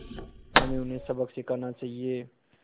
हमें उन्हें सबक सिखाना चाहिए